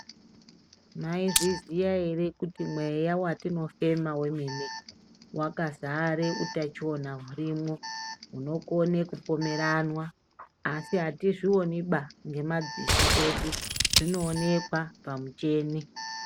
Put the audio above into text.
Mwaizviziya ere kuti mweya watinofema wemene wakazara utachiwana hurimwo hunokone kupomeranwa asi atizvioniba ngemadziso edu zvinoonekwa pamicheni.